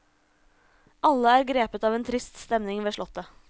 Alle er grepet av en trist stemning ved slottet.